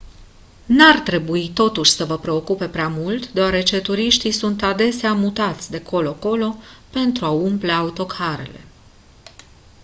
n-ar trebui totuși să vă preocupe prea mult deoarece turiștii sunt adesea mutați de colo colo pentru a umple autocarele